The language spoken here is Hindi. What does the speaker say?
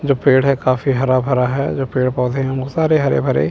जो पेड़ है काफी हरा भरा है जो पेड़ पौधे हैं बहुत सारे हरे भरे--